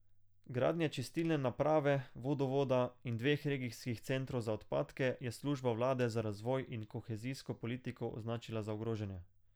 Gradnje čistilne naprave, vodovoda in dveh regijskih centrov za odpadke je služba vlade za razvoj in kohezijsko politiko označila za ogrožene.